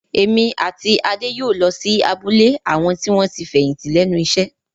Èmi àti Adé yóò lọ sí abúlé àwọn tí wọ́n ti fẹ̀yìntì lẹ́nu iṣẹ́